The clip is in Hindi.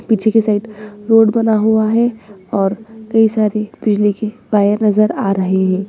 पीछे के साइड रोड बना हुआ है और कई सारे बिजली के वायर नजर आ रहे हैं।